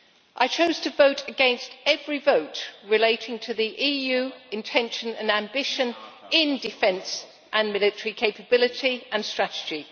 I chose to vote against every vote relating to the EU intention and ambition in defence and military capability and strategy.